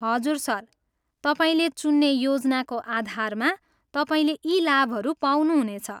हजुर सर, तपाईँले चुन्ने योजनाको आधारमा तपाईँले यी लाभहरू पाउनुहुनेछ।